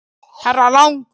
Herra Lang.